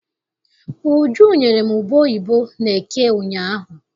Uju nyere m ube oyibo n'eke ụnyaahụ.